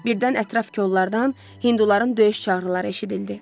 Birdən ətraf kollardan hinduların döyüş çağrıları eşidildi.